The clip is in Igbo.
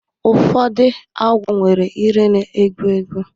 Ụfọdụ agwọ nwere ire na-egbu egbu